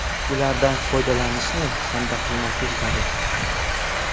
Ulardan foydalanishni kanda qilmaslik zarur.